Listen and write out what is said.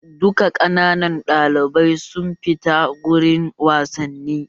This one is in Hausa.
Duka ƙananan ɗalibai su fita gurin wasanni!